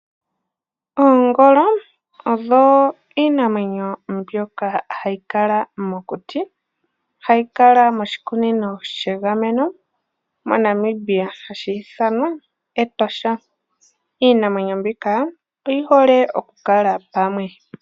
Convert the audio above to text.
Oongolo odho iinamwenyo mbyoka hayi kala mokuti. Hayi kala moshikunino shegameno mo Namibia hashi ithanwa Etosha. Iinamwenyo mbika oyi hole oku kala pamwe.